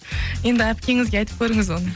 енді әпкеңізге айтып көріңіз оны